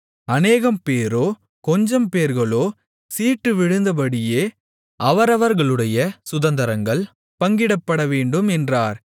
அநேகம்பேரோ கொஞ்சம்பேர்களோ சீட்டு விழுந்தபடியே அவரவர்களுடைய சுதந்தரங்கள் பங்கிடப்படவேண்டும் என்றார்